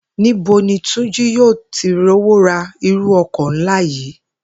Ní bo ni Túnjí yóò ti rówó ra irú o̩kò̩ ńlá yìí?